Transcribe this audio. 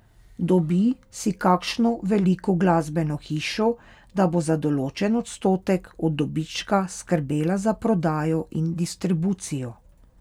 Dobi si kakšno veliko glasbeno hišo, da bo za določen odstotek od dobička skrbela za prodajo in distribucijo.